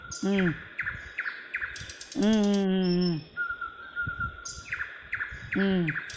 உம் உம் உம் உம் உம் உம்